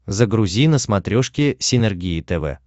загрузи на смотрешке синергия тв